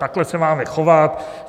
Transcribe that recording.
Takhle se máme chovat.